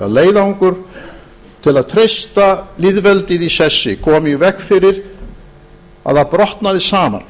leiðangur til að treysta lýðveldið í sessi koma í veg fyrir að það brotnaði saman